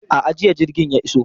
A'a, jiya jirgin ya iso.